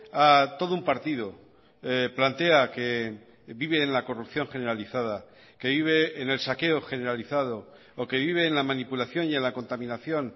a todo un partido plantea que vive en la corrupción generalizada que vive en el saqueo generalizado o que vive en la manipulación y en la contaminación